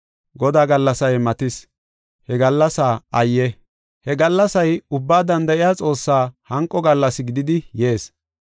Godaa gallasay matis; he gallasaa ayye! He gallasay Ubbaa Danda7iya Xoossaa hanqo gallas gididi yees.